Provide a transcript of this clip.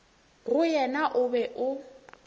go yena o be o